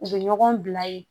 U bɛ ɲɔgɔn bila ye